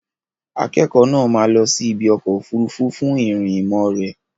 Akẹ́kọ̀ọ́ náà máa lọ sí ibi ọkọ̀ òfuurufú fún ìrìn ìmọ̀ rẹ̀.